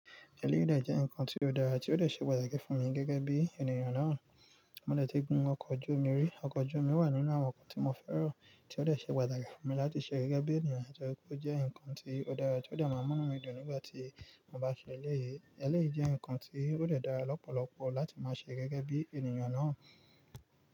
Ẹlẹ́yìí dè jẹ́ nǹkan tí ó dára tí ó dè ṣe pàtàkì fún mi gẹ́gẹ́ bí ènìyàn náà. Mo dẹ̀ ti gun ọkọ̀ ojú omi rí, ọkọ̀ ojú omi wà nínú àwọn nǹkan tí mo fẹ́ràn tí ó lè ṣe pàtàkì fún mi láti ṣe gẹ́gẹ́ bí ènìyàn torí pé ó jẹ́ nǹkan tí ó dára tí ó lè má mú mi dùn nígbà tí mo bá ṣe eléyìí. Eléyìí nǹkan tí ó lè dára lọ́pọ̀lọpọ̀ láti máa ṣe gẹ́gẹ́ bí ènìyàn náà.